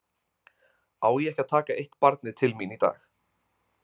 Á ég ekki að taka eitt barnið til mín í dag?